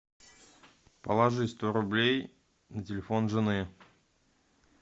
положи сто рублей на телефон жены